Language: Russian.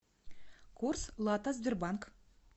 курс лата сбербанк